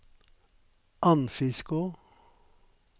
Andfiskå